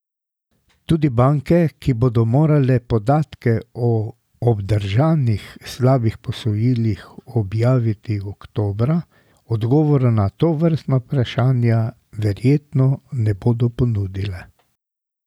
Tudi banke, ki bodo morale podatke o obdržanih slabih posojilih objaviti oktobra, odgovorov na tovrstna vprašanja verjetno ne bodo ponudile.